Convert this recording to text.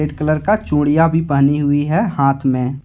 Red colour का चूड़ियां भी पहनी हुई है हाथ में।